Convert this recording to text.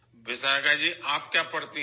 وشاکھا جی، آپ کیا پڑھتی ہیں؟